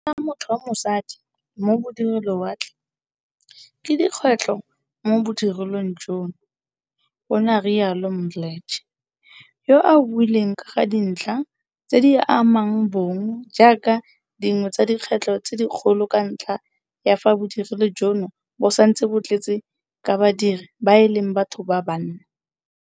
Go nna motho wa mosadi mo bodirelowatle ke dikgwetlho mo bodirelong jono, o ne a rialo Mdletshe, yo a buileng ka ga dintlha tse di amang bong jaaka dingwe tsa di kgwetlho tse dikgolo ka ntlha ya fa bodirelo jono bo santse bo tletse ka badiri ba e leng batho ba banna.